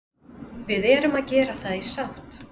Við erum að gera það í sátt